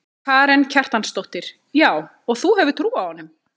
Karen Kjartansdóttir: Já og þú hefur trú á honum?